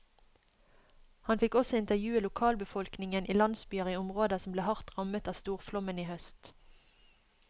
Han fikk også intervjue lokalbefolkningen i landsbyer i områder som ble hardt rammet av storflommen i høst.